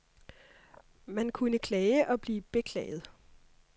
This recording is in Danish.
Man kunne klage og blive beklaget.